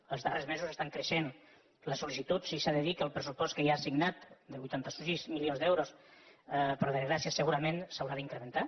en els darrers mesos estan creixent les sol·licituds i s’ha de dir que el pressupost que hi ha assignat de vuitanta sis milions d’euros per desgràcia segurament s’haurà d’incrementar